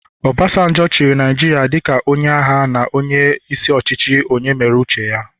Obasanjo chịrị Naijiria dịka onye agha na onye isi ọchịchị onye mere uche ya